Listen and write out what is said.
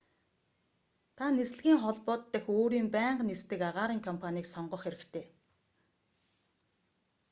та нислэгийн холбоод дахь өөрийн байнга нисдэг агаарын компанийг сонгох хэрэгтэй